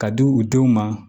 Ka di u denw ma